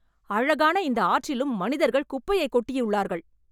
அழகான இந்த ஆற்றிலும் மனிதர்கள் குப்பையைக் கொட்டியுள்ளார்கள்